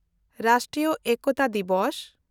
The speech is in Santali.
ᱨᱟᱥᱴᱨᱤᱭᱚ ᱮᱠᱛᱟ ᱫᱤᱵᱚᱥ